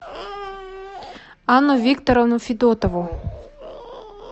анну викторовну федотову